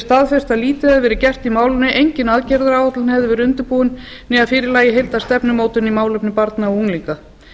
staðfesti að lítið hefði verið gert í málinu engin aðgerðaráætlun hefði verið undirbúin né að fyrir lægi heildarstefnumótun í málefnum barna og unglinga